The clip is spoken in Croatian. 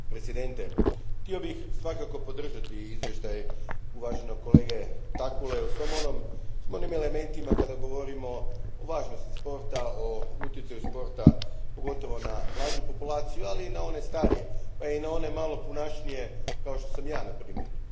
Gospodine predsjedniče, htio bih svakako podržati izvještaj uvaženog kolege Takkule, u svim onim elementima kada govorimo o važnosti sporta, o utjecaju sporta, pogotovo na mlađu populaciju, ali i na one starije, pa i na one malo punašnije kao što sam ja, na primjer.